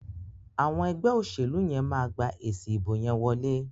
Àwọn ẹgbẹ́ òṣèlú yẹn máa gba èsi ìbò yẹn wọlé.